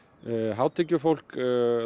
hátekjufólk